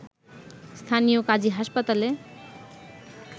স্থানীয় কাজী হাসপাতালে